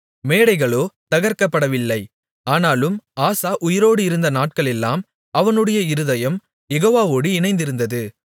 மேடைகளோ தகர்க்கப்படவில்லை ஆனாலும் ஆசா உயிரோடு இருந்த நாட்களெல்லாம் அவனுடைய இருதயம் யெகோவாவோடு இணைந்திருந்தது